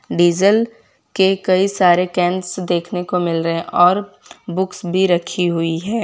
Diesel के कई सारे कैंस देखने को मिल रहे और बुक्स भी रखी हुई है।